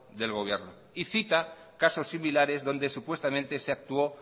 del gobierno y cita caso similares donde supuestamente se actuó